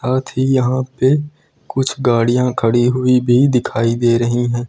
अथी यहां पे कुछ गाड़ियां खड़ी हुई भी दिखाई दे रही है।